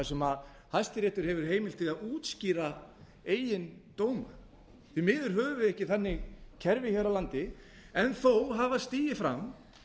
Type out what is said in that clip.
sem hæstiréttur hefur heimild til að útskýra eigin dóma því miður höfum við ekki þannig kerfi hér á landi en á hafa stigið fram